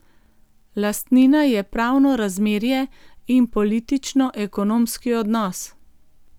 Lastnina je pravno razmerje in političnoekonomski odnos.